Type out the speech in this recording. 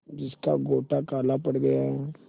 जिसका गोटा काला पड़ गया है